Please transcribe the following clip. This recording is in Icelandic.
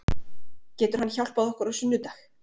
Getur hann hjálpað okkur á sunnudag?